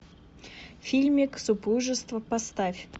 фильмик супружество поставь